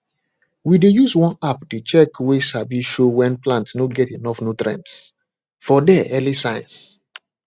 we dey use one app dey check way sabi show when plant no get enough nutrients for there early signs